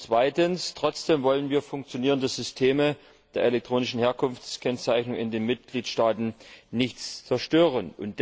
Zweitens wollen wir dennoch die funktionierenden Systeme der elektronischen Herkunftskennzeichnung in den Mitgliedstaaten nicht zerstören.